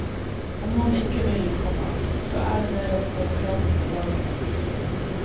Om noen ikke vil, komma så er det deres demokratiske valg. punktum